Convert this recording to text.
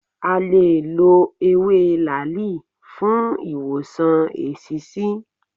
À lè lọ ewé làáàlì fún ìwòsàn eṣiṣi.